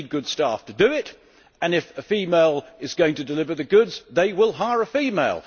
They need good staff to do it, and if a female is going to deliver the goods, they will hire a female.